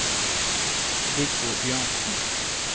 Viggo Bjørnsen